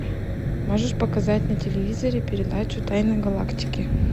можешь показать на телевизоре передачу тайны галактики